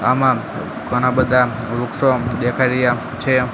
આમા ઘણા બધા વૃક્ષો દેખાઈ રહ્યા છે.